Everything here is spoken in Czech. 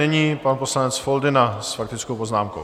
Nyní pan poslanec Foldyna s faktickou poznámkou.